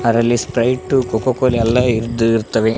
ಅದ್ರಲ್ಲಿ Sprite Coca Cola ಇರ್ದ್ ಇರತ್ತವೆ.